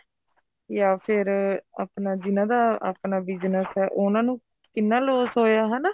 ਜਾਂ ਫ਼ਿਰ ਆਪਣਾ ਜਿਹਨਾ ਦਾ ਆਪਣਾ business ਏ ਉਹਨਾ ਨੂੰ ਕਿੰਨਾ loss ਹੋਇਆ ਹਨਾ